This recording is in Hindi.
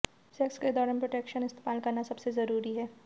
सेक्स के दौरान प्रोटेक्शन इस्तेमाल करना सबसे जरूरी है